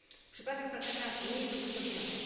Przypadek Fataha nie jest odosobniony.